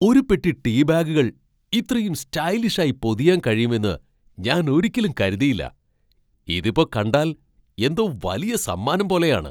ഒരു പെട്ടി ടീ ബാഗുകൾ ഇത്രയും സ്റ്റൈലിഷായി പൊതിയാൻ കഴിയുമെന്ന് ഞാൻ ഒരിക്കലും കരുതിയില്ല. ഇതിപ്പോ കണ്ടാൽ എന്തോ വലിയ സമ്മാനം പോലെയാണ്.